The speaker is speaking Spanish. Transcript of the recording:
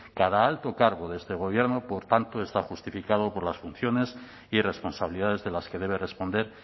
cada alto cargo de este gobierno por tanto está justificado por las funciones y responsabilidades de las que debe responder